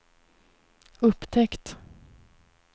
upptäckt